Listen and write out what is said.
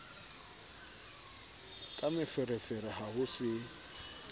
ka meferefere ha ho se